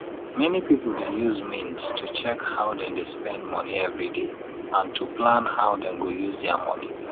many people dey use mint to check how dem dey spend monie everyday and to plan how them go use dia monie